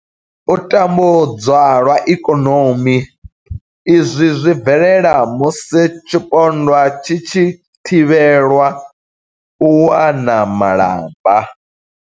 U tambudzwa lwa ikonomi, Izwi zwi bvelela musi tshipondwa tshi tshi thivhelwa u wana malamba.